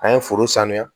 An ye foro sanuya